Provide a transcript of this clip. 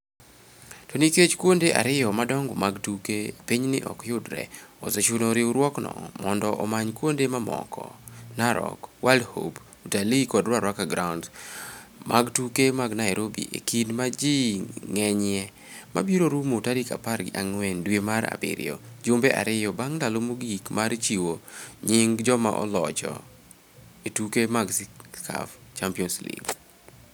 To nikech kuonde ariyo madongo mag tuke e pinyni ok yudre, osechuno riwruokno mondo omany kuonde mamoko (Narok, World Hope, Utalii kod Ruaraka Grounds) mag tuke mag Nairobi e kinde ma ji ng'enyie ma biro rumo tarik apar gi ang'wen dwe mar abiriyo, jumbe ariyo bang' ndalo mogik mar chiwo nying joma olocho e tuke mag CAF (Champions League).